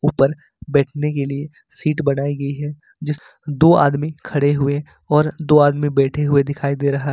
ऊपर बैठने के लिए शीट बनाई गई है जिस दो आदमी खड़े हुए और दो आदमी बैठे हुए दिखाई दे रहा है।